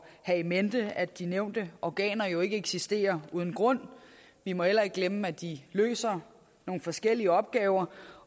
have in mente at de nævnte organer jo ikke eksisterer uden grund vi må heller ikke glemme at de løser nogle forskellige opgaver